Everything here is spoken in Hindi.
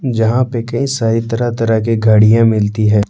जहाँ पे कई सारी तरह तरह की गाडियाँ मिलती हैं।